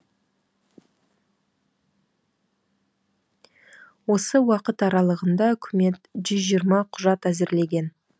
осы уақыт аралығында үкімет жүз жиырма құжат әзірлеген